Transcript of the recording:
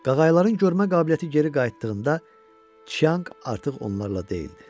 Qaqayıların görmə qabiliyyəti geri qayıtdığında Tcyanq artıq onlarla deyildi.